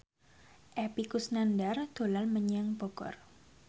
Epy Kusnandar dolan menyang Bogor